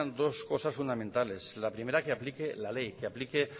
dos cosas fundamentales la primera que aplique la ley que aplique